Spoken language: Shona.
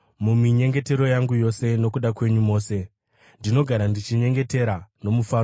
Muminyengetero yangu yose nokuda kwenyu mose, ndinogara ndichinyengetera nomufaro